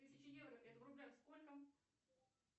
тысяча евро это в рублях сколько